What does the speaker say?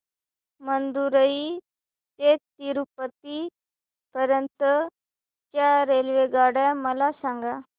मदुरई ते तिरूपती पर्यंत च्या रेल्वेगाड्या मला सांगा